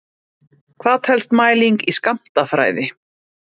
Hvað telst mæling í skammtafræði?